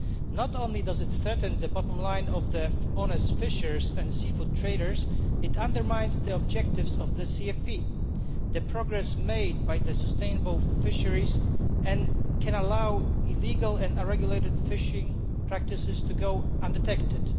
Not only does it threaten the bottom line of honest fishers and seafood traders, it also undermines the objectives of the CFP, the progress made by the sustainable fisheries, and it can allow illegal and unregulated fishing practices to go undetected.